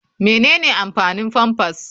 Menene amfanin pampers?